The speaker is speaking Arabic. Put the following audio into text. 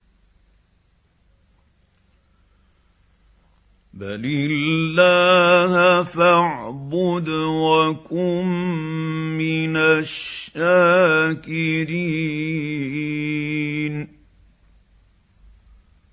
بَلِ اللَّهَ فَاعْبُدْ وَكُن مِّنَ الشَّاكِرِينَ